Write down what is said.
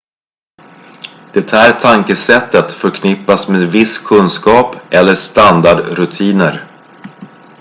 det här tankesättet förknippas med viss kunskap eller standardrutiner